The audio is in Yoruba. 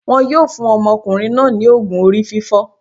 Won yóò fún ọmọkùnrin náà ní ògùn orí fífọ́.